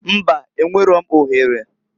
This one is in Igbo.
Mbaǃ Enwero m ohere.